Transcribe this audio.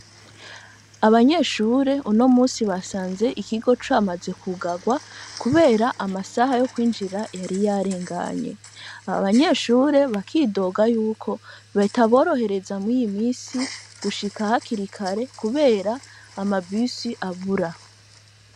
Abanyeshure unomusi basanzwe ikigo amaze kwugarwa kubera amasaha yo kwinjira yari yageze. Abanyeshure bakidoga yuko bitabirohereza murino misi gushika hakiri kare kubera ko ama bus abura.